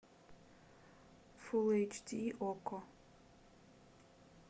фул эйч ди окко